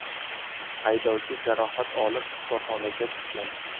Haydovchi jarohat olib shifoxonaga tushgan.